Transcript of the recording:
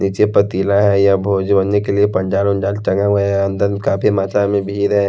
नीचे पातीला है या भोज बनने के लिए टंगे हुए अंदर काफी मात्रा में भीड़ है।